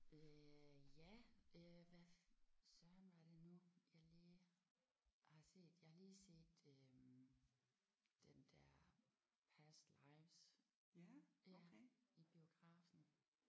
Øh ja øh hvad søren var det nu jeg lige har set. Jeg har lige set øh den der Past Lives ja i biografen